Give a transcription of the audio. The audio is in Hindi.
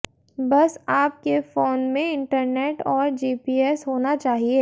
बस आप के फोन में इंटरनेट और जीपीएस होना चाहिए